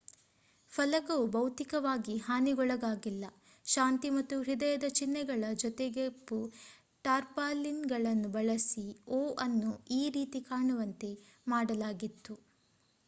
ಫಲಕವು ಭೌತಿಕವಾಗಿ ಹಾನಿಗೊಳಗಾಗಿಲ್ಲ; ಶಾಂತಿ ಮತ್ತು ಹೃದಯದ ಚಿಹ್ನೆಗಳ ಜೊತೆಗೆಕಪ್ಪು ಟಾರ್ಪಾಲಿನ್‌ಗಳನ್ನು ಬಳಸಿ o ಅನ್ನು e ರೀತಿ ಕಾಣುವಂತೆ ಮಾಡಲಾಗಿತ್ತು